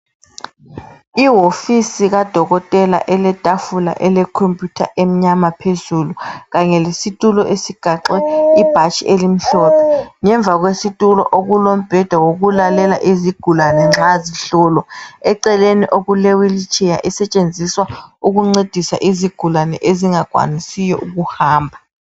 Iwofisi kadokotela eletafula elekhompiyutha emnyama phezulu kanye lesitulo esigaxe ibhatshi elimhlophe. Ngemva kwesitulo okulombheda wokulalela izigulani nxa zihlolwa. Eceleni okule wheel chair esetshenziswa ukuncedisa izigulani ezingakwanisiyo ukuhamba.